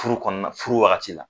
Furu kɔnɔ na furu wagati la.